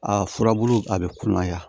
A furabulu a bɛ kunɲaa